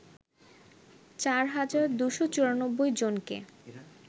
৪ হাজার ২৯৪ জনকে